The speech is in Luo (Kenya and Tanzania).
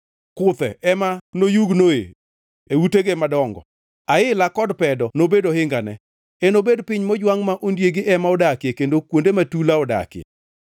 Kuthe ema noyugno e utege madongo, aila kod pedo nobed ohingane. Enobed piny mojwangʼ ma ondiegi ema odakie kendo kuonde ma tula odakie.